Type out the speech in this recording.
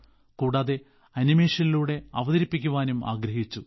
കൂടാതെ ആനിമേഷനിലൂടെ അവതരിപ്പിക്കാനും ആഗ്രഹിച്ചു